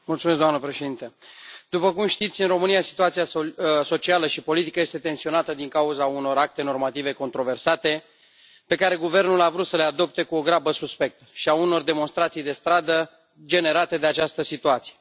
Doamnă președinte, după cum știți, în România situația socială și politică este tensionată din cauza unor acte normative controversate pe care guvernul a vrut să le adopte cu o grabă suspectă și a unor demonstrații de stradă generate de această situație.